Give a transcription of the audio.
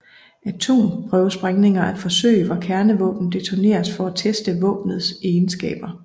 Atomprøvesprængninger er forsøg hvor kernevåben detoneres for at teste våbenets egenskaber